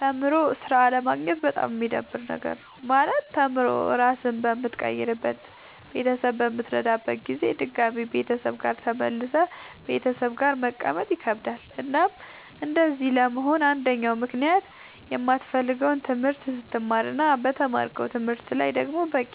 ተምሮ ስራ አለማግኘት በጣም የሚደብር ነገር ነው። ማለት ተምሮ ራስህን በምትቀይርበት ቤተሰብህን በምትረዳበት ጊዜ ድጋሚ ቤተሰብ ጋር ተመልሰህ ቤተሰብ ጋር መቀመጥ ይከብዳል። እናም እንደዚህ ለመሆን አንደኛው ምክንያት የማትፈልገውን ትምህርት ስትማር እና በተማርከው ትምህርት ላይ ደግሞ በቂ